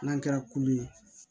N'an kɛra kulu ye